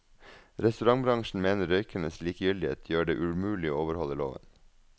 Restaurantbransjen mener røykernes likegyldighet gjør det umulig å overholde loven.